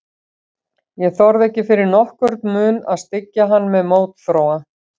Ég þorði ekki fyrir nokkurn mun að styggja hann með mótþróa.